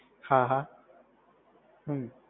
હા હા, હમ્મ.